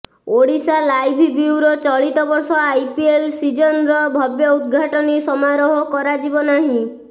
Odisha live bureau ଚଳିତବର୍ଷ IPL ସିଜନ୍ର ଭବ୍ୟ ଉଦ୍ଘାଟନୀ ସମାରୋହ କରାଯିବ ନାହିଁ